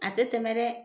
A tɛ tɛmɛ dɛ